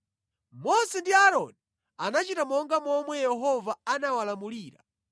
Mose ndi Aaroni anachita monga momwe Yehova anawalamulira.